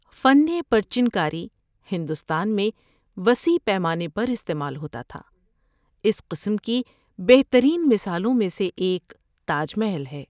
فن پرچن کاری ہندوستان میں وسیر پیمانے پر استعمال ہوتا تھا۔ اس قسم کی بہترین مثالوں میں سے ایک تاج محل ہے۔